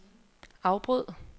afbryd